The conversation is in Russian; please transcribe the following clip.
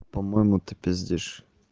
по-моему ты пиздишь